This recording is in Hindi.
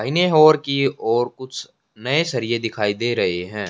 दाहिने और की और कुछ नए सरिए दिखाई दे रहे हैं।